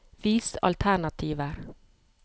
Vis alternativer